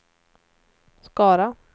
Skara